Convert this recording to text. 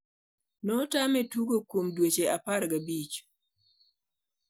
notame tugo kuom dueche apar gi abich.